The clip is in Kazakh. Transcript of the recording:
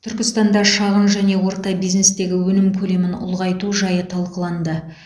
түркістанда шағын және орта бизнестегі өнім көлемін ұлғайту жайы талқыланды